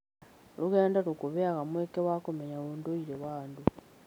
Rũgendo rũkũheaga mweke wa kũmenya ũndũire wa andũ.